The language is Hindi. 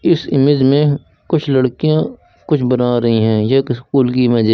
इस इमेज में कुछ लड़कियां कुछ बना रही हैं यह एक स्कूल की इमेज है।